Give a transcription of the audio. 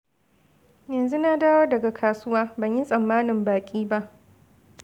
Yanzu na dawo daga kasuwa. Ban yi tsammanin baƙi ba.